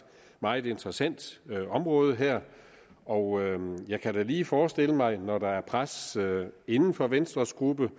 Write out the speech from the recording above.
meget interessant område og jeg kan da lige forestille mig at når der er et pres inden for venstres gruppe